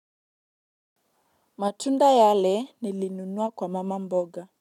Matunda yale nilinunua kwa mama mboga.